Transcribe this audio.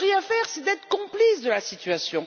Ne rien faire, c'est être complice de la situation.